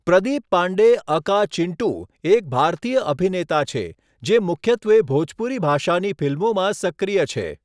Pradeep Pandey aka 'Chintu' એક ભારતીય અભિનેતા છે જે મુખ્યત્વે ભોજપુરી ભાષાની ફિલ્મોમાં સક્રિય છે.